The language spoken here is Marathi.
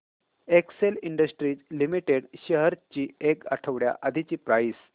एक्सेल इंडस्ट्रीज लिमिटेड शेअर्स ची एक आठवड्या आधीची प्राइस